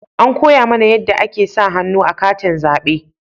An koya mana yanda ake sa hannu a katin zabe